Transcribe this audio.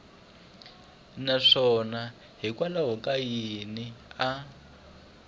naswona hikwalaho ka yini a